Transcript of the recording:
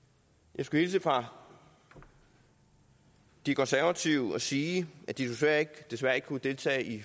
jeg skal hilse fra de konservative og sige at de desværre desværre ikke kunne deltage i